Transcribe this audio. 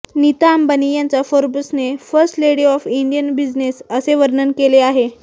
नीता अंबानी यांचा फोर्ब्सने first lady of Indian business असे वर्णन केले आहे